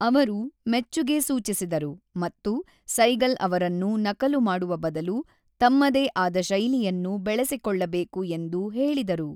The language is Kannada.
ಅವರು ಮೆಚ್ಚುಗೆ ಸೂಚಿಸಿದರು ಮತ್ತು ಸೈಗಲ್ ಅವರನ್ನು ನಕಲು ಮಾಡುವ ಬದಲು ತಮ್ಮದೇ ಆದ ಶೈಲಿಯನ್ನು ಬೆಳೆಸಿಕೊಳ್ಳಬೇಕು ಎಂದು ಹೇಳಿದರು.